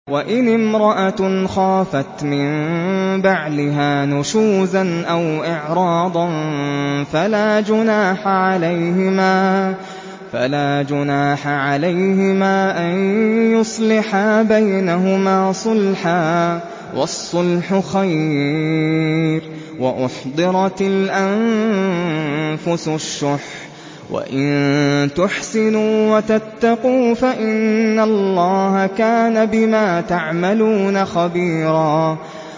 وَإِنِ امْرَأَةٌ خَافَتْ مِن بَعْلِهَا نُشُوزًا أَوْ إِعْرَاضًا فَلَا جُنَاحَ عَلَيْهِمَا أَن يُصْلِحَا بَيْنَهُمَا صُلْحًا ۚ وَالصُّلْحُ خَيْرٌ ۗ وَأُحْضِرَتِ الْأَنفُسُ الشُّحَّ ۚ وَإِن تُحْسِنُوا وَتَتَّقُوا فَإِنَّ اللَّهَ كَانَ بِمَا تَعْمَلُونَ خَبِيرًا